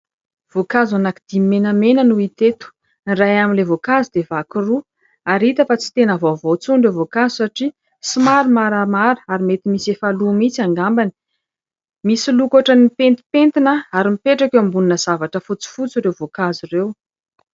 Voankazo anankidimy menamena no hita eto. Ny iray amin'ilay voankazo dia vaky roa. Ary hita fa tsy tena vaovao intsony ireo voankazo, satria somary maramara, ary mety misy efa lo mihitsy angambany. Misy loko ohatra ny pentipentina, ary mipetraka eo ambonina zavatra fotsifotsy ireo voankazo ireo.